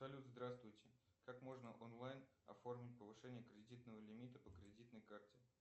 салют здравствуйте как можно онлайн оформить повышение кредитного лимита по кредитной карте